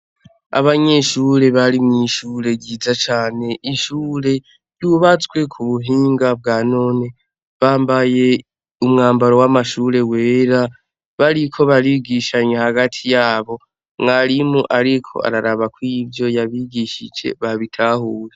Abanyeshure bari mw’ishure ryiza cane ,ishure ryubatswe ku buhinga bwa none . Bambaye umwambaro w’amashure wera bariko barigishanya hagati yabo , mwarimu ariko araraba kw’ivyo yabigishije babitahuye.